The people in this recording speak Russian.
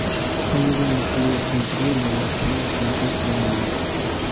помоги найти игру ливерпуля с манчестером юнайтед